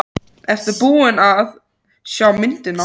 Sindri: Ertu búin að sjá myndina?